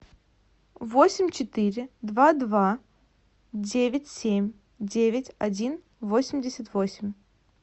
восемь четыре два два девять семь девять один восемьдесят восемь